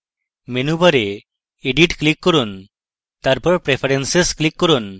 menu bar edit click করুন তারপর preferences click করুন